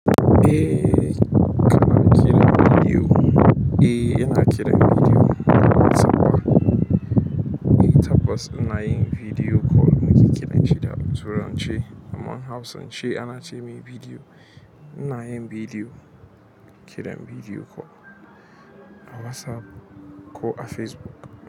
Eh, kana kiran bidiyo. Eh, ina kiran bidiyo a WhatsApp. Tabbas ina yin video call, muke kiran shi da turanci amma hausance ana ce mai bidiyo. Ina yin bidiyo, kiran bidiyo ko a WhatsApp ko a Facebook.